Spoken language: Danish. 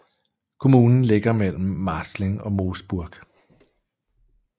Kommunen ligger mellem Marzling og Moosburg